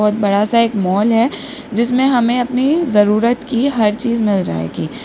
और बड़ा सा एक मॉल है जिसमे हमें अपनी जरूरत की हर चीज मिल जाएगी।